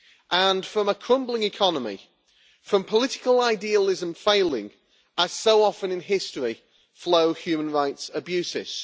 And from a crumbling economy and from political idealism failing as so often in history flow human rights abuses.